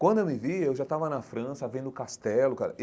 Quando eu me vi, eu já estava na França vendo o Castelo cara.